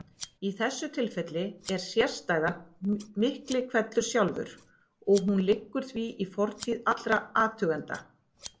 Í þessu tilfelli er sérstæðan miklihvellur sjálfur og hún liggur því í fortíð allra athugenda.